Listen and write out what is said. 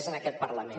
és en aquest parlament